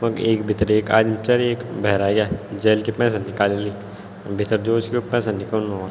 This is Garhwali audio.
वख एक भितर एक आदिम चा अर एक भैर एैग्या जेल की पैसा निकालयली भितर जो च की वो पैसा निकल्नु वाल।